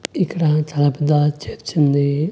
ఇక్కడ చాలా పెద్ద చర్చుంది .